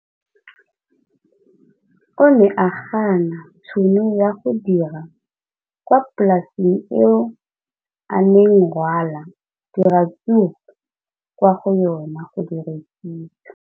O ne a gana tšhono ya go dira kwa polaseng eo a neng rwala diratsuru kwa go yona go di rekisa.